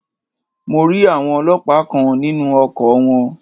Mo rí àwọn Ọlọ́pàá kan nínú ọkọ̀ wọn.